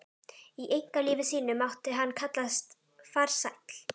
Í einkalífi sínu mátti hann kallast farsæll.